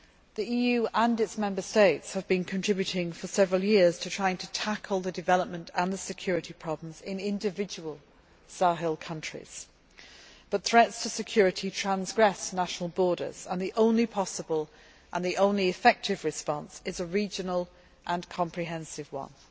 The EU and its Member States have been contributing for several years to tackling the development and the security problems in individual Sahel countries, but threats to security transcend national borders and the only possible, the only effective response is a regional and comprehensive one.